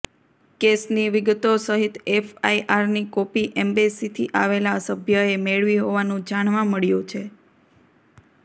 કેસની વિગતો સહિત એફઆઇઆરની કોપી એમ્બેસીથી આવેલા સભ્યએ મેળવી હોવાનું જાણવા મળ્યું છે